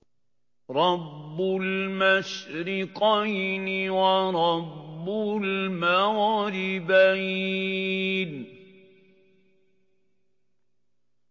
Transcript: رَبُّ الْمَشْرِقَيْنِ وَرَبُّ الْمَغْرِبَيْنِ